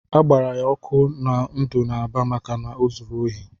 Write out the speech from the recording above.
A gbara ya ọkụ na ndụ n'Aba maka o zuru ohi.